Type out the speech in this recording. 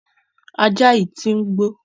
Ajá yìí tí ń gbó.